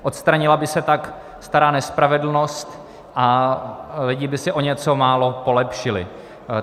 Odstranila by se tak stará nespravedlnost a lidi by si o něco málo polepšili.